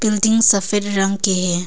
Building सफेद रंग की है।